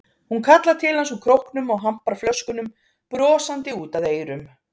Hún kallar til hans úr króknum og hampar flöskunum brosandi út að eyrum.